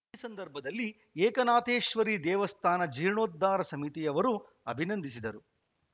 ಈ ಸಂದರ್ಭದಲ್ಲಿ ಏಕನಾಥೇಶ್ವರಿ ದೇವಸ್ಥಾನ ಜೀರ್ಣೋದ್ಧಾರ ಸಮಿತಿಯವರು ಅಭಿನಂದಿಸಿದರು